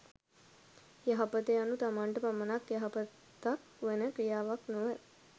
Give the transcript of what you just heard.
යහපත යනු තමන්ට පමණක් යහපතක් වන ක්‍රියාවක් නොව